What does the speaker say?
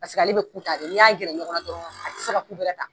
Paseke ale bi ku ta n'i y'a gɛrɛ ɲɔgɔn na dɔrɔn a ti se ka ku bɛrɛ ta.